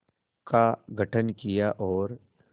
का गठन किया और